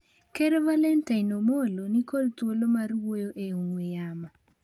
Ker Valentine Amollo ni kod thuolo mar wuoyo e ongwe'yamo